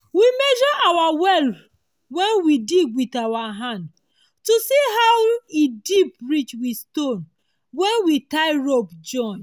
we measure our well wen we dig wit our hand to see how e deep reach wit stone wen we tie join rope